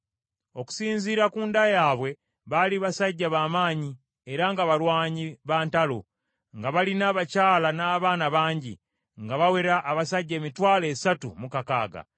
Okusinziira ku nda yaabwe, baali basajja b’amaanyi era nga balwanyi ba ntalo, nga balina abakyala n’abaana bangi, nga bawera abasajja emitwalo esatu mu kakaaga.